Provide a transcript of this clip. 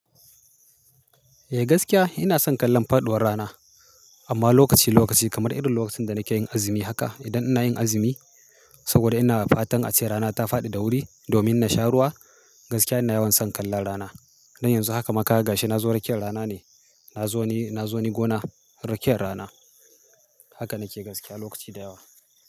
Eh gaskiya ina son kallon faɗuwar rana. Amma lokaci lokaci kamar irin lokacin da nake yin azumi haka. Idan ina yin azumi, saboda ina fatan ace rana ta faɗi da wuri domin na sha ruwa. Gaskiya ina yawan son kallon rana. Don yanzu haka ma ka ga she na zo rakiyar rana ne. Na zo ni, na zo ni gona rakiyar rana. Haka nake gaskiya lokaci da yawa.